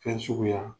Fɛn suguya